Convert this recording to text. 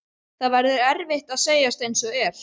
Það verður að segjast einsog er.